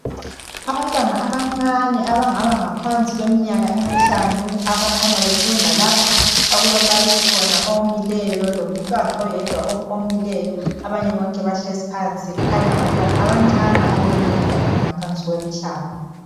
Abantwana abancane abangaba ngaphansi kweminyaka emihlanu abakhanya befunda lapha okulombalisi omileyo lomntwana oyedwa omileyo abanye bahlezi phansi. Kukhanya ngabantwana abancane abaleminyaka engaphansi kwemihlanu.